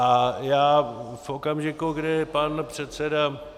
A já v okamžiku, kdy pan předseda...